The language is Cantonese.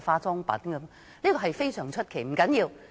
這一點非常出奇，但不要緊。